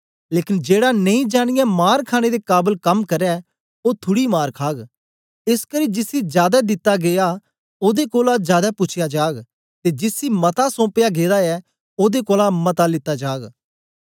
लेकन जेड़ा नेई जानियें मार खाणे दे काबल कम्म करै ओ थुड़ी मार खाग एसकरी जिसी जादै दित्ता गीया ओदे कोलां जादै पूछया जाग ते जिसी मता सौम्पया गेदा ऐ ओदे कोलां मता लित्ता जाग